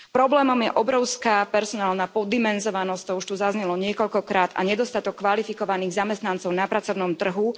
Problémom je obrovská personálna poddimenzovanosť, to už tu zaznelo niekoľkokrát, a nedostatok kvalifikovaných zamestnancov na pracovnom trhu.